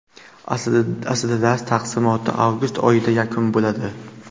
Aslida dars taqsimoti avgust oyida yakun bo‘ladi.